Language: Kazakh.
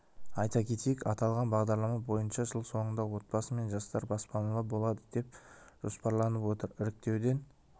айта кетейік аталған бағдарлама бойынша жыл соңында отбасы мен жастар баспаналы болады деп жоспарланып отыр іріктеуден